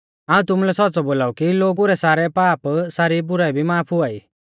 हाऊं तुमुलै सौच़्च़ौ बोलाऊ कि लोगु रै सारै पाप सारी बुराई भी माफ हुआई